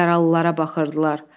Yaralılara baxırdılar.